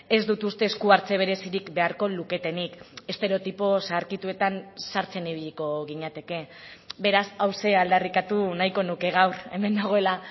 ez dut uste esku hartze berezirik beharko luketenik estereotipo zaharkituetan sartzen ibiliko ginateke beraz hauxe aldarrikatu nahiko nuke gaur hemen nagoela